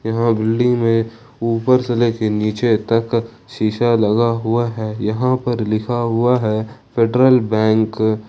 यहां बिल्डिंग में ऊपर से ले के नीचे तक शीशा लगा हुआ है यहां पर लिखा हुआ है फेडरल बैंक ।